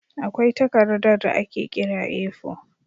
Akwai takardar da ake kira A4.